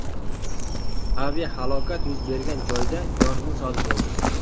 Aviahalokat yuz bergan joyda yong‘in sodir bo‘ldi.